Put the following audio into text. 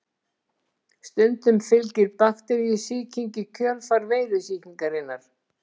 Stundum fylgir bakteríusýking í kjölfar veirusýkingarinnar.